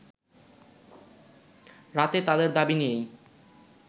রাতে তাদের দাবি নিয়েই